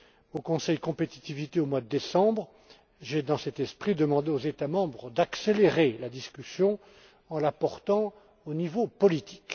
Au Conseil compétitivité en décembre, j'ai dans cet esprit demandé aux États membres d'accélérer la discussion en la portant au niveau politique.